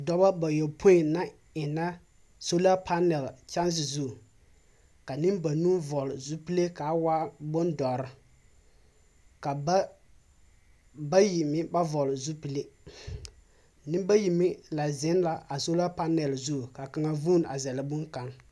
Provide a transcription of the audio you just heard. Dɔba bayɔpoĩ na enna solapanɛl kyanse zu. Ka nembanuu vɔɔl zupille k'a waa bondɔrr. Ka ba bayi meŋ ba vɔɔle zupille. Nembayi meŋ la zeŋ la a solapanɛl zu k'a kaŋa vuun a zɛl boŋkaŋ.